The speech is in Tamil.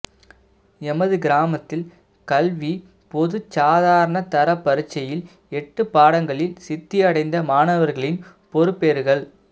எமது கிராமத்தில் கல்விப்பொது சாதாரணதர பரீட்சையில் எட்டு பாடங்களில் சித்தி அடைந்த மாணவர்களின் பெறுபேறுகள்